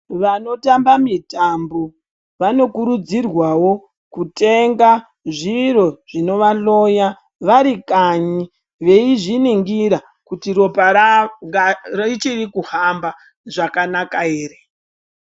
Vanotamba mitambo vanokurudzirwa kutenga zviro zvinovhloya varikanya veizviningira kuti ropa rawo richiri kuhamba zvakanaka here.